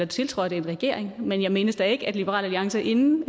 tiltrådte en regering men jeg mindes da ikke at liberal alliance inden